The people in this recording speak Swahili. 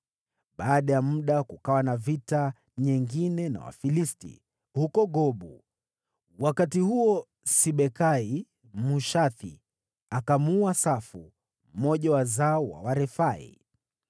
Baada ya muda, kukawa na vita nyingine na Wafilisti, huko Gobu. Wakati huo Sibekai, Mhushathi, akamuua Safu, mmoja wa wazao wa Warefai.